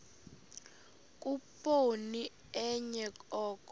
khuphoni enye oko